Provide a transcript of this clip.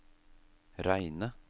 reine